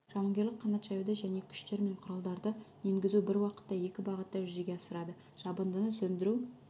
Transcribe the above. жауынгерлік қанат жаюды және күштер мен құралдарды енгізуді бір уақытта екі бағытта жүзеге асырады жабындыны сөндіру